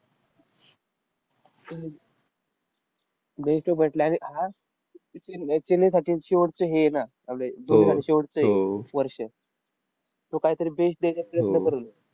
बेन Stoke भेटलाय ना आणि हा चेन्नईसाठी शेवटचं हे आहे ना आपलं धोनीसाठी शेवटचं हे वर्ष. तो काहीतरी best द्यायचा प्रयत्न करेल.